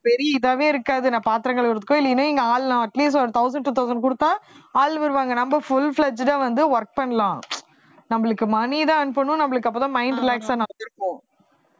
பெரிய இதாவே இருக்காது நான் பாத்திரம் கழுவுறதுக்கோ இல்லைன்னா எங்க ஆள் நான் at least ஒரு thousand two thousand குடுத்தா ஆள் வருவாங்க நம்ம full fledged ஆ வந்து work பண்ணலாம் நம்மளுக்கு money தான் earn பண்ணனும் நம்மளுக்கு அப்பதான் mind relax ஆ இருக்கும்